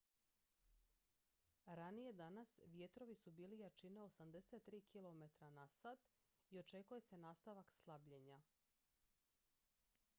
ranije danas vjetrovi su bili jačine 83 km/h i očekuje se nastavak slabljenja